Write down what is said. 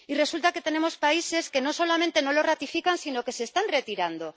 Y resulta que tenemos países que no solamente no lo ratifican, sino que se están retirando.